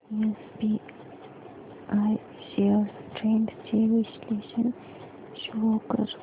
SBI shares trends चे विश्लेषण show कर